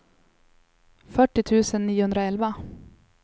fyrtio tusen niohundraelva